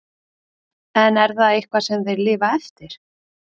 En er það eitthvað sem þeir lifa eftir?